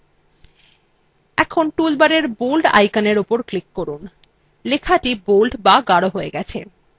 এখন toolbar bold আইকনের উপর click করুন লেখাটি bold বা গাঢ় হয়ে গেছে